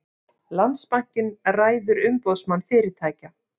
Landsbankinn ræður Umboðsmann fyrirtækja